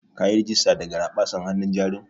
Kayi rigista da garaɓasan hanun jarin?